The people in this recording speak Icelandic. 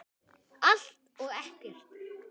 Allt og ekkert